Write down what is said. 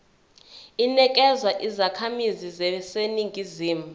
inikezwa izakhamizi zaseningizimu